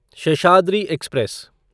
Seshadri express